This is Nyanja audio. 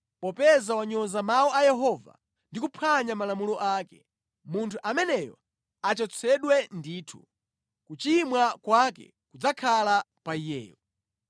Popeza wanyoza mawu a Yehova ndi kuphwanya malamulo ake. Munthu ameneyo achotsedwe ndithu, kuchimwa kwake kudzakhala pa iyeyo.’ ”